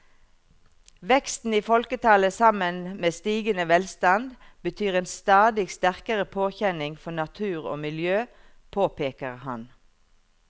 Veksten i folketallet sammen med stigende velstand betyr en stadig sterkere påkjenning for natur og miljø, påpeker han.